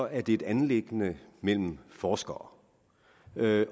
er det et anliggende mellem forskere derfor